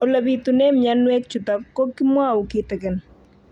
Ole pitune mionwek chutok ko kimwau kitig'�n